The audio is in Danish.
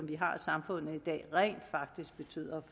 vi har i samfundet i dag rent faktisk betyder